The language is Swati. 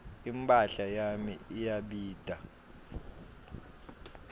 imphahla yami iyabita